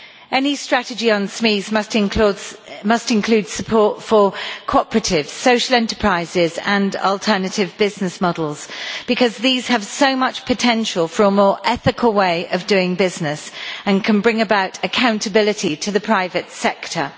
Any strategy on SMEs must include support for cooperatives, social enterprises and alternative business models because these have so much potential for a more ethical way of doing business and can bring about accountability to the private sector.